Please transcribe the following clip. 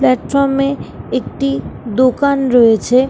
Platform -এ একটি দোকান রয়েছে ।